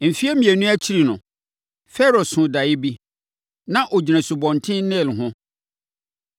Mfeɛ mmienu akyiri no, Farao soo daeɛ bi. Na ɔgyina Asubɔnten Nil ho.